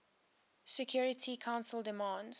security council demands